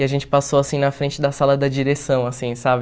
E a gente passou, assim, na frente da sala da direção, assim, sabe?